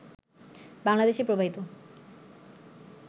বাংলাদেশে প্রবাহিত